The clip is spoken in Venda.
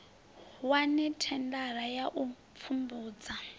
wane thendara ya u pfumbudza